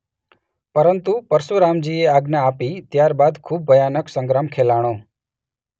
પરંતુ પરશુરામજીએ આજ્ઞા આપી ત્યાર બાદ ખુબ ભયાનક સંગ્રામ ખેલાણો.